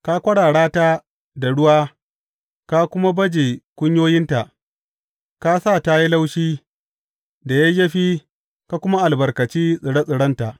Ka kwarara ta da ruwa ka kuma baje kunyoyinta; ka sa ta yi laushi da yayyafi ka kuma albarkaci tsire tsirenta.